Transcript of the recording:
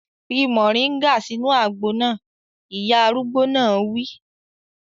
Fi moringa sínú àgbo náà! Ìyá arúgbó náà wí.